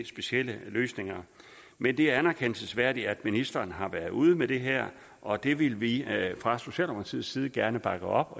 specielle løsninger men det er anerkendelsesværdigt at ministeren har været ude med det her og det vil vi fra socialdemokratiets side gerne bakke op